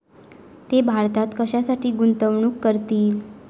ते भारतात कशासाठी गुंतवणूक करतील?